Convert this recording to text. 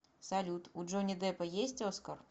салют у джонни деппа есть оскар